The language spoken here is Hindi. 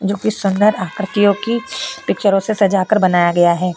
जो कुछ सुंदर आकृतियों की पिक्चरों से सजाकर बनाया गया है।